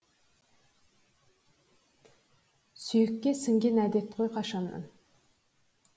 сүйекке сіңген әдет қой қашаннан